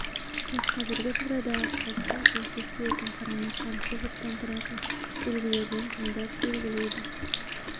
тек қазіргі жағдайдағы қалыпқа сәйкес келетін қарама-қарсы жұптан тұратын белгілерден таңдап белгілейді